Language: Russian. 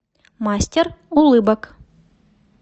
мастер улыбок